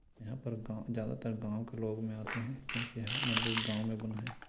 यहाँ पर गाँव ज्यादातर गाँव के लोग में आते हैं क्योंकि यह मंदिर गाँव में बना है।